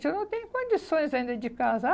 Se eu não tenho condições ainda de casar.